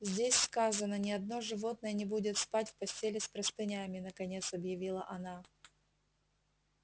здесь сказано ни одно животное не будет спать в постели с простынями наконец объявила она